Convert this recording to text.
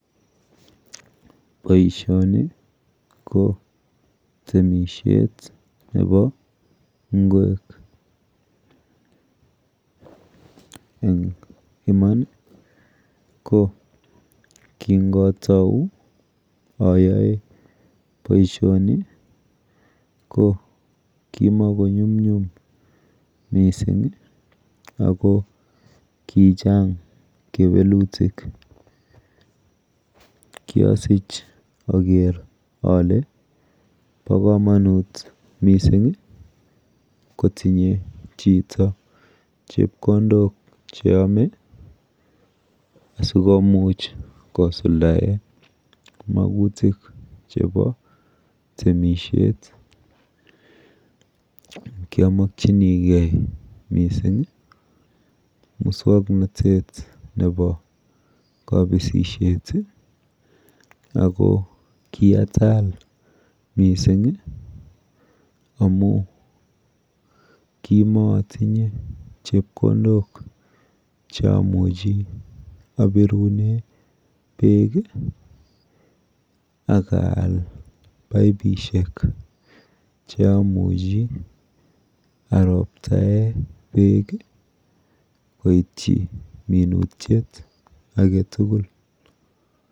Boishoni ko temishet nepo ng'wek. Eng iman ko kingatou ayoe boishoni ko kimakonyumnyum mising ako kichang kewelutik. Kiasich aker ale po komonut mising kotinye chito chepkondok cheyome asikomuch kosuldae makutik chepo temishet. Kiamokchinigei mising muswoknotet nepo kabisishet ako kiatal mising amu kimaatinye chepkondok cheamuchi apirune beek akaal paipishek cheamuchi aroptae beek koitchi minutyet aketugul.